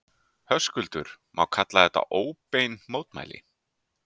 Höskuldur: Má kalla þetta óbein mótmæli?